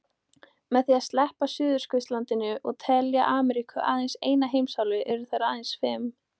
Með því að sleppa Suðurskautslandinu og telja Ameríku aðeins eina heimsálfu eru þær aðeins fimm.